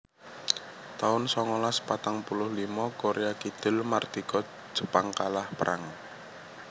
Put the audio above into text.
taun songolas patang puluh limo Korea Kidul mardika Jepang kalah perang